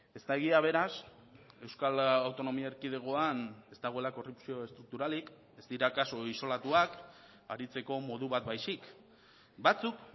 ez da egia beraz euskal autonomia erkidegoan ez dagoela korrupzio estrukturalik ez dira kasu isolatuak aritzeko modu bat baizik batzuk